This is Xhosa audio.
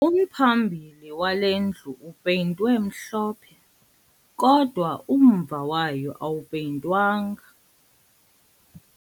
Umphambili wale ndlu upeyintwe mhlophe kodwa umva wayo awupeyintwanga